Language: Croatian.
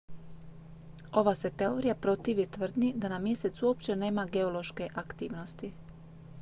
ova se teorija protivi tvrdnji da na mjesecu uopće nema geološke aktivnosti